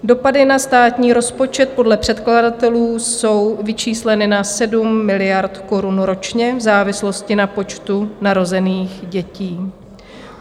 Dopady na státní rozpočet podle předkladatelů jsou vyčísleny na 7 miliard korun ročně v závislosti na počtu narozených dětí.